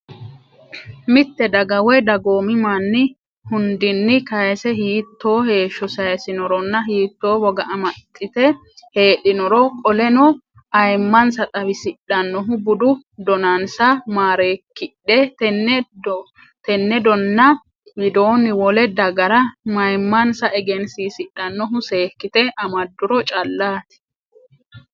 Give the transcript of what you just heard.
Mitte daga woy dagoomi manni hundinni kayse hiittoo heeshsho sayissinoronna hiittoo woga amaxxite heedhinoro qoleno ayimmansa xawisidhannohu budu donnansa maareekkidhe tenne donna widoonni wole dagara mayimmansa egensiisidhannohu seekkite amadduro callaati.